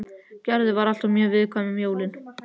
Gerður var alltaf mjög viðkvæm um jólin.